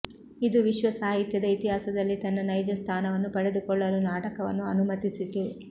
ಇದು ವಿಶ್ವ ಸಾಹಿತ್ಯದ ಇತಿಹಾಸದಲ್ಲಿ ತನ್ನ ನೈಜ ಸ್ಥಾನವನ್ನು ಪಡೆದುಕೊಳ್ಳಲು ನಾಟಕವನ್ನು ಅನುಮತಿಸಿತು